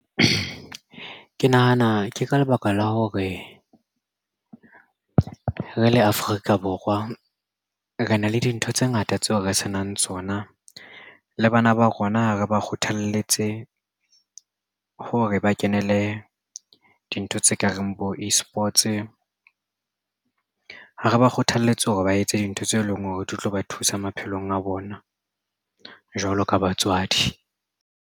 Ke nahana ke ka lebaka la hore re le Afrika Borwa re na le dintho tse ngata tseo re senang tsona. Le bana ba rona re ba kgothalletse ha re ba kenele dintho tse ka reng bo eSports ha re ba kgothalletse hore ba etse dintho tse leng hore di tlo ba thusa maphelong a bona jwalo ka batswadi.